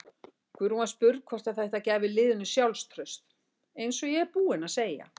Guðrún var spurð hvort þætta gæfi liðinu sjálfstraust: Eins og ég er búinn að segja.